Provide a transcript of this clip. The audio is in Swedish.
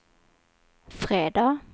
fredag